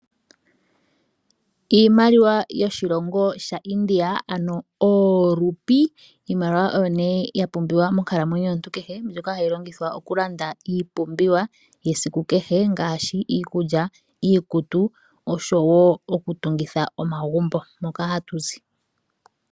Iimaliwa yoshilongo sha India ano hayi ithanwa oorupi . Iimaliwa oyo ne ya pumbiwa monkalamwenyo yomuntu kehe mbyoka hayi longithwa oku landa iipumbiwa yesiku kehe ngaashi iikulya, iikutu oshowo oku tungitha omagumbo moka hatu zi.